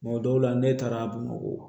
dɔw la ne taara bamakɔ